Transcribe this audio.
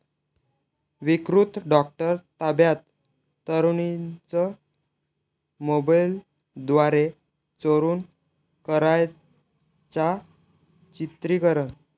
विकृत डॉक्टर ताब्यात, तरुणीचं मोबाईलद्वारे चोरून करायचा चित्रिकरण